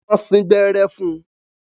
Wọ́n sín gbẹ́rẹ́ fún un.